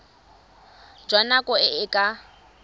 jwa nako e e ka